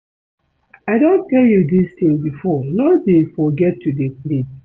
I don tell you dis thing before no dey forget to dey pray